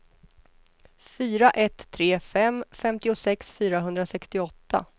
fyra ett tre fem femtiosex fyrahundrasextioåtta